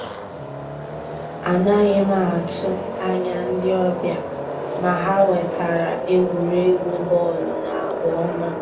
Ànàghị́ m àtụ́ ànyá ndí ọ́bị̀à, mà ha wètàra ègwùrègwù bọ́ọ̀lụ́ na àgwà ọ́ma.